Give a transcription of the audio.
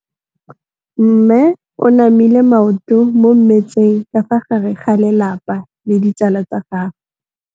Mme o namile maoto mo mmetseng ka fa gare ga lelapa le ditsala tsa gagwe.